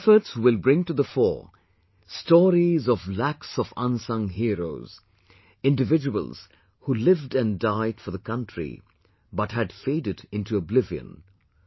Your efforts will bring to the fore stories of lakhs of unsung heroes individuals who lived and died for the country but had faded into oblivion